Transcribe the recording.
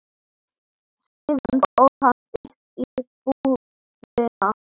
Síðan fór hann upp í íbúðina.